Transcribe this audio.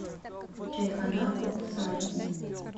чайхана ок сарой